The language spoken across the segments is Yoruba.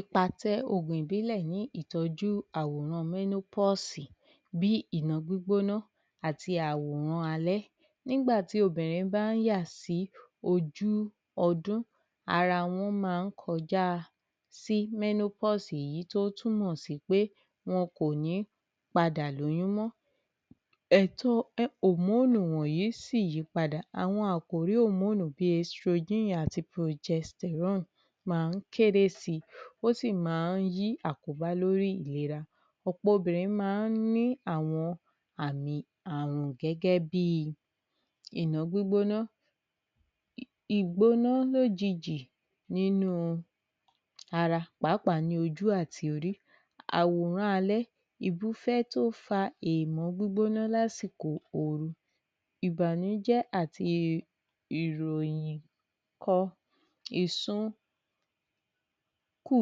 Ipa tí ògùn ìbílẹ̀ ní ìtọ̀jú àwòran menopause bí gbígbóná àti àwòrán alẹ́ Nígbà tí obìrin bá ń yà sí ojú ọdún ara wọn máa ń kọja sí menopause yìí tí ó túmọ̀ sí pé wọn kò ní padà lóyún mọ́ ẹ̀tọ hormone wọ̀nyí sì yípadà àwọn àkòrí hormone bí estrogen àti progesterone máa ń kéré si ó sì máa ń ní àkóbá lórí ìlera. ọ̀pọ̀ obìrin máa ń ní àmì àrùn gẹ́gẹ́ bi gbígbóná ìgbóná lójijì nínú ara pàápàá ní ojú àti orí àwòrán alẹ́ tó fa gbígbóná lásìkò oru ìbànújẹ́ àti ìròyìn ìsun kù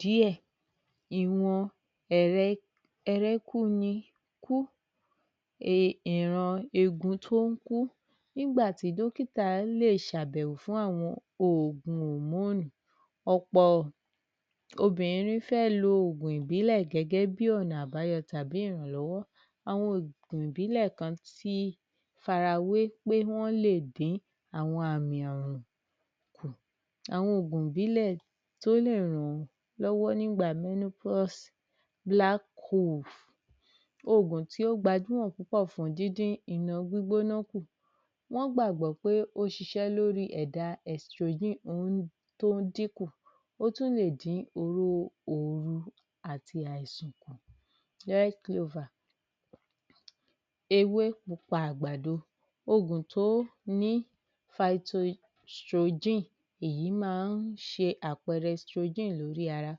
díẹ̀ ìran egun tó ń kú Nígbà tí dọ́kítà lè ṣe àbẹ̀wò fún àwọn oògùn hormone ọ̀pọ̀ obìrin fẹ́ lo ògùn ìbílẹ̀ gẹ́gẹ́ bi ọ̀nà àbáyọ tàbí ìrànlọ́wọ́. Àwọn ògùn ìbílẹ̀ kan ti farawé pé wọ́n lè dín àwọn àmì àrùn kù. Àwọn ògùn ìbílẹ̀ tó lè ran lọ́wọ́ nígbà menopause ògùn tó gbajúmọ̀ fún díndín gbígbóná kù Wọ́n gbàgbọ́ pé ó ń ṣiṣẹ́ lórí ẹ̀dá estrogen tó ń dín kù ó tún lè dín irú àìsàn kù Ewé pupa àgbàdo ògùn tó ní èyí máa ń ṣe àpẹẹrẹ estrogen nínú ara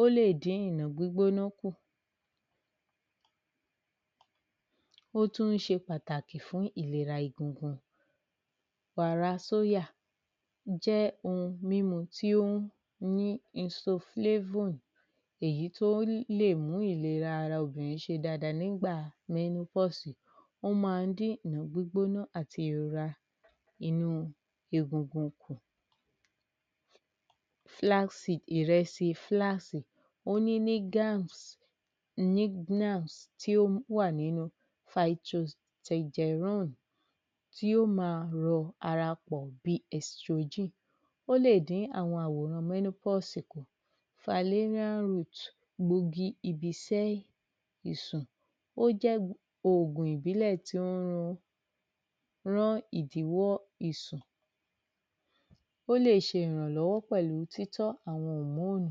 ó lè dín ìna gbígbóná kù ó tún ṣe pàtàkì fún ìlera egungun Wàrà sóyà jẹ́ ohun mímu tí ó ní insoflavun èyì tó lè mú ìlera ara obìnrin ṣe dá́adáa nígbà menopause ó máa ń dín gbígbóná àti ìrora inú egungun kù flaxseed- ìrèsì flax ó ní tí ó wà nínú tí yóò má rọ ara pọ̀ bí estrogen Ó lè dín àwọn àwòràn menopause kù falerian root egbògi ibi sẹ́ ìsùn ó jẹ́ ògùn ìbílẹ̀ tí ó ń ran ran ìdíwọ́ ìsùn ó lè ṣe ìràlọ́wọ́ pẹ̀lú títọ́ àwọn hormone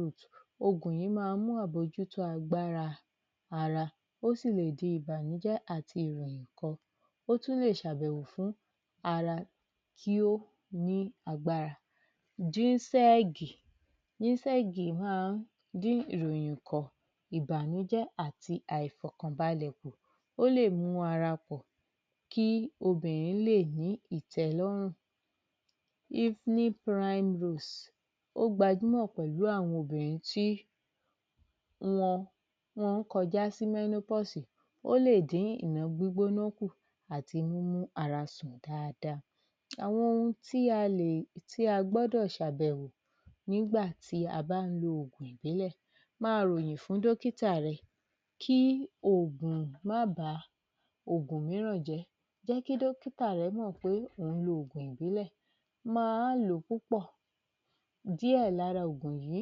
root, ògùn yìí máa ń mú àmójútó agbára ara ó sì lè di ìbànújẹ́ ìròyìn kan ó tún lè ṣàbẹ̀wò fún ara kí ó ní agbára ginseng Ginseng máa ń dín ìròyìn kọ̀, ìbànújẹ́ àti àìfọkànbalẹ̀ kù ó lè mú kí ara kọ̀ kí obìrin lè ní ìtẹ́lọ́rùn Evening prime roots, ó gbajúmọ̀ pẹ̀lú àwọn obìnrin tí wọ́n ń kọjá sí menopause ó lè dín gbígbóná kù àti mímú ara sùn dáadáa Àwọn ohun tí a gbọ́dọ̀ ṣàbẹ̀wò nígbà tí a bá ń lo ògùn ìbílẹ̀ Máa ròyìn fún dọ́kítà rẹ kí oògùn má ba ògùn mìíràn jẹ́. Jẹ́ kí dọ́kìtà rẹ mọ̀ pé ò ń lo ògùn ìbílẹ̀, má lò ó púpọ̀ Díẹ̀ lára ògùn yìí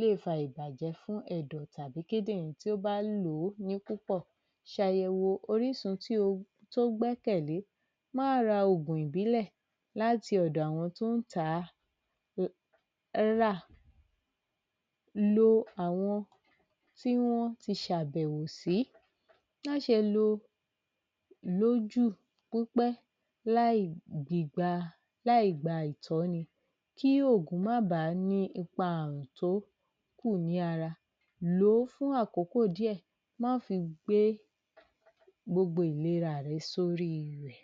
lè fa ìbàjẹ́ fún ẹ̀dọ̀ tàbí kídìnrín tí ó bá ń lò ó ní púpọ̀, ṣàyẹ̀wò orísun tí ó gbẹ́kẹ̀lé, má ra ògùn ìbílẹ̀ láti ọ̀dọ̀ àwọn tó ń tà á Lo àwọn tí wọ́n ti ṣàbẹ̀wò sí má ṣe lò ó jù kó pẹ́ láì gba ìtọ́ni kí ògùn má bà ní ipa àrùn tó kù ní ara. Lò ó fún àkókò díẹ̀, má ṣe gbé gbogbo ìlera rẹ sórí rẹ̀